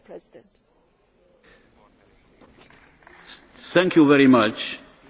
Hat állásfoglalásra irányuló indítványt juttattak el hozzám a vita lezárásaként.